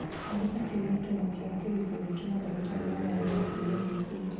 andĩka kĩririkano kĩa kĩrĩko giitu na ndagĩtarĩ wa magego kiumia gĩũkite